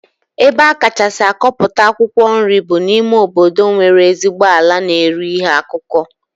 Ebe a kacha akọpụta akwụkwọ nri bụ n'ime obodo nwere ezigbo ala na-eru ihe akụkụ